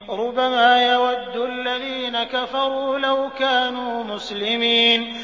رُّبَمَا يَوَدُّ الَّذِينَ كَفَرُوا لَوْ كَانُوا مُسْلِمِينَ